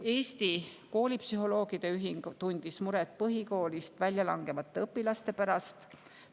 Eesti Koolipsühholoogide Ühing tundis muret põhikoolist väljalangevate õpilaste pärast.